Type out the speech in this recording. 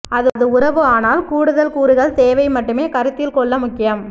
அது உறவு ஆனால் கூடுதல் கூறுகள் தேவை மட்டுமே கருத்தில் கொள்ள முக்கியம்